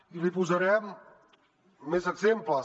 i n’hi posaré més exemples